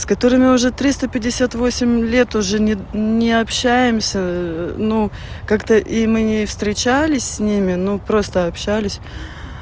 с которыми мы уже триста пятьдесят восемь лет уже не общаемся но как-то и мы не встречались с ними ну просто общались